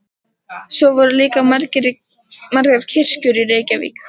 Svo voru líka margar kirkjur í Reykjavík.